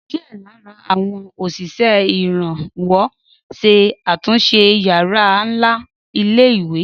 Díẹ̀ lára àwọn òṣìṣẹ́ ìrànwọ́ ṣe àtúnṣe yàrá ńlá ilé ìwé